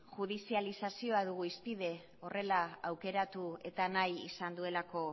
judizializazioa dugu horrela aukeratu eta nahi izan duelako